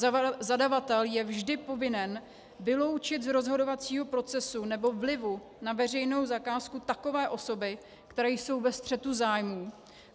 Zadavatel je vždy povinen vyloučit z rozhodovacího procesu nebo vlivu na veřejnou zakázku takové osoby, které jsou ve střetu zájmů.